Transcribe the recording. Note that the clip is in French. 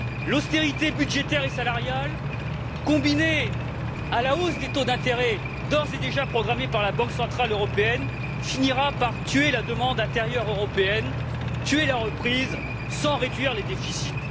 L'austérité budgétaire et salariale, combinée à la hausse des taux d'intérêt d'ores et déjà programmée par la Banque centrale européenne, finira par tuer la demande intérieure européenne, tuer la reprise sans réduire les déficits.